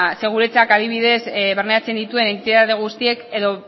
ze guretzat adibidez barneratzen dituen entitate guztiek edo